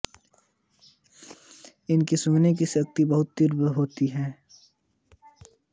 इनकी सूंघने की शक्ति बहुत तीव्र होती है